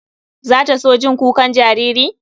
Za ta so jin kukan jariri?